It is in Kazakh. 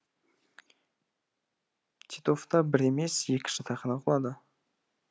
титовта бір емес екі жатақхана құлады